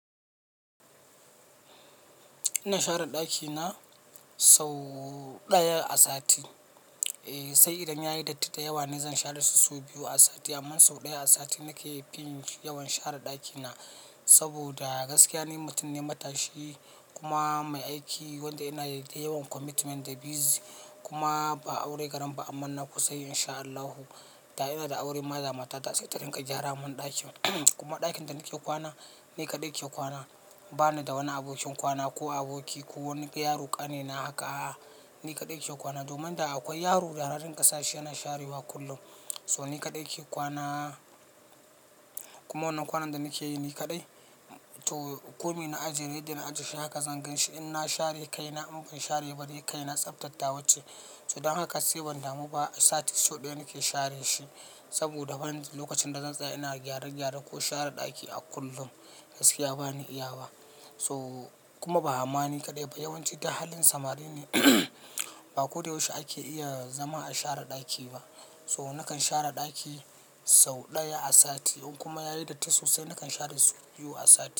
Ina share ɗakina sau ɗaya a sati. Eh sai idan yayi datti da yawa zan share su as df amma sau ɗaya a sati nake fin yawan share ɗakina. Saboda gaskiya ni mutum ne matashi kuma mai aiki wanda ina da yawan commitment da busy. Kuma ba aure garen ba amma na kusa yi Insha Allahu. Da ina da aure ma da mata ta, sai ta ringa gyara mun ɗakin. Kuma ɗakin da nake kwana, ni kaɗai ke kwana. Bani da wani abokin kwana ko aboki ko wani yaro kanina haka. Ni kaɗai ke kwana. Domin da akwai yaro, yanayin ƙasa shi yana sharewa kullum. So ni kaɗai ke kwana. Kuma wannan kwanan da nake yi ni kaɗai. To kome na ajiye, yadda na ajiye shi haka zan gan shi. In na share kai na, in ban share ba dai tsaftar tawa ce. Don haka sai ban damu ba a sati sau daya nake share shi. Saboda bani da lokacin da zan tsaya ina gyare gyare ko share ɗaki a kullum. Gaskiya bani iya wa. To kuma bani ni kadai ba yawanci da halin samari ne. Ba ko da yaushe ake iya zama a share ɗaki ba. So nakan share ɗaki sau ɗaya a sati. In kuma yayi datti sosai na kan share sau biyu a sati.